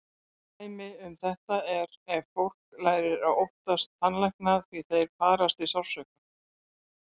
Dæmi um þetta er ef fólk lærir að óttast tannlækna því þeir parast við sársauka.